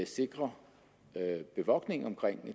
sikre bevogtningen omkring